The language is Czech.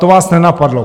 To vás nenapadlo.